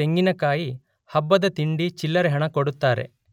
ತೆಂಗಿನಕಾಯಿ ಹಬ್ಬದ ತಿಂಡಿ ಚಿಲ್ಲರೆ ಹಣ ಕೊಡುತ್ತರೆ.